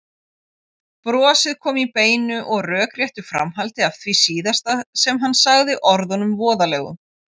Brosið kom í beinu og rökréttu framhaldi af því síðasta sem hann sagði, orðunum voðalegu.